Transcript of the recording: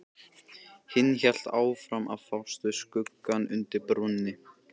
Hinn hélt áfram að fást við skuggann undir brúnni.